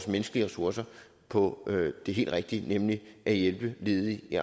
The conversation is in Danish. menneskelige ressourcer på det helt rigtige nemlig at hjælpe ledige i